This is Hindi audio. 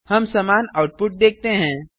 हम समान आउटपुट देखते हैं